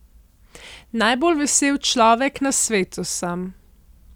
Najbolj vesel človek na svetu sem.